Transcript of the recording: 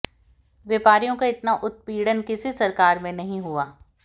व्यापारियों का इतना उत्पीड़न किसी सरकार में नहीं हुआ